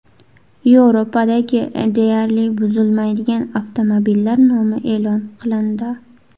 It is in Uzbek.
Yevropadagi deyarli buzilmaydigan avtomobillar nomi e’lon qilindi.